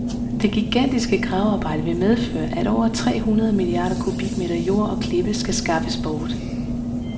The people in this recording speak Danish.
Det gigantiske gravearbejde vil medføre, at over trehundrede milliarder kubikmeter jord og klippe skal skaffes bort.